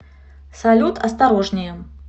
салют осторожнее